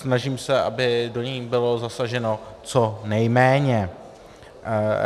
Snažím se, aby do nich bylo zasaženo co nejméně.